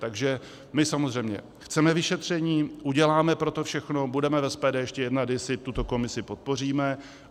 Takže my samozřejmě chceme vyšetření, uděláme pro to všechno, budeme v SPD ještě jednat, jestli tuto komisi podpoříme.